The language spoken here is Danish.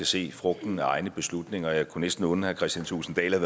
se frugten af egne beslutninger og jeg kunne næsten unde herre kristian thulesen dahl at